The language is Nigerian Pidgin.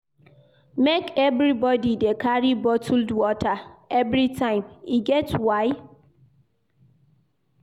Make everybodi dey carry bottled water everytime, e get why.